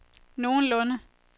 nogenlunde